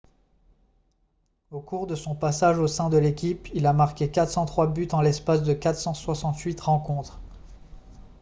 au cours de son passage au sein de l'équipe il a marqué 403 buts en l'espace de 468 rencontres